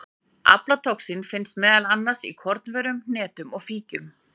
Aflatoxín finnst meðal annars í kornvörum, hnetum og fíkjum.